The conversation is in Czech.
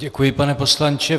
Děkuji, pane poslanče.